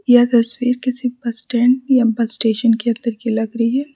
यह तस्वीर किसी बस स्टैंड या बस स्टेशन के अंदर की लग रही है।